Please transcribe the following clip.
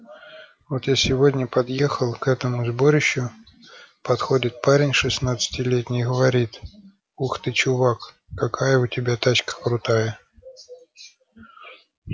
вот я сегодня подъехал к этому сборищу подходит парень шестнадцатилетний и говорит ух ты чувак какая у тебя тачка крутая